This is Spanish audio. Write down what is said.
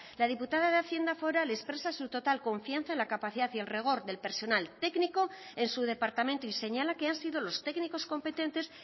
la diputada de hacienda foral expresa su total confianza en la capacidad y el rigor del personal técnico en su departamento y señala que han sido los técnicos competentes